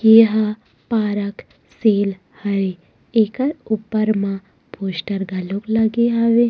एहा पारक सेल हे एकर ऊपर मा पोस्टर घलोक लगे हवे।